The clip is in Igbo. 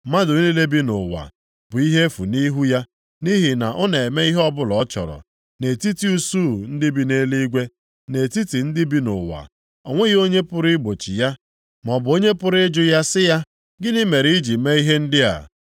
Mmadụ niile bi nʼụwa bụ ihe efu nʼihu ya. Nʼihi na ọ na-eme ihe ọbụla ọ chọrọ nʼetiti usuu ndị bi nʼeluigwe, na nʼetiti ndị bi nʼụwa. O nweghị onye pụrụ igbochi ya, maọbụ onye pụrụ ịjụ ya sị ya, “Gịnị mere iji mee ihe ndị a?”